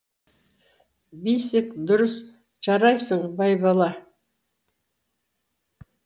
бесик дұрыс жарайсың байбала